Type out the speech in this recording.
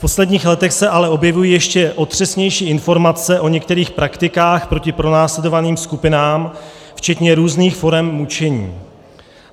V posledních letech se ale objevují ještě otřesnější informace o některých praktikách proti pronásledovaným skupinám, včetně různých forem mučení.